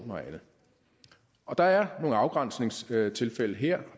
og andet der er nogle afgrænsningstilfælde her